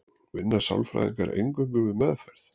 vinna sálfræðingar eingöngu við meðferð